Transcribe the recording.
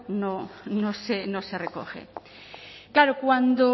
no se recoge claro cuando